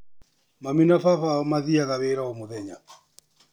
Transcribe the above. Mami na baba wao mathiayaga wĩra o mũthenya.